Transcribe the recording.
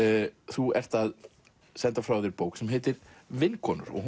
þú ert að senda frá þér bók sem heitir vinkonur og